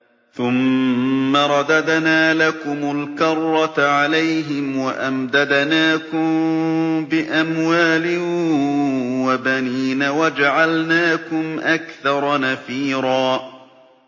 ثُمَّ رَدَدْنَا لَكُمُ الْكَرَّةَ عَلَيْهِمْ وَأَمْدَدْنَاكُم بِأَمْوَالٍ وَبَنِينَ وَجَعَلْنَاكُمْ أَكْثَرَ نَفِيرًا